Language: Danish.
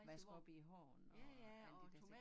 Vaske op i æ hånd og alle de der ting